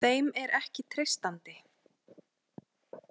Þeim er ekki treystandi.